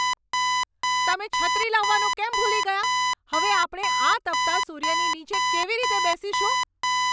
તમે છત્રી લાવવાનું કેમ ભૂલી ગયા? હવે આપણે આ તપતા સૂર્યની નીચે કેવી રીતે બેસીશું?